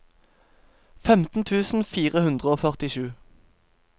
femten tusen fire hundre og førtisju